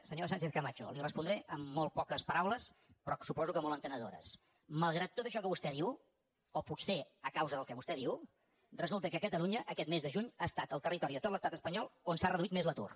senyora sánchez camacho li respondré amb molt poques paraules però suposo que molt entenedores malgrat tot això que vostè diu o potser a causa del que vostè diu resulta que catalunya aquest mes de juny ha estat el territori de tot l’estat espanyol on s’ha reduït més l’atur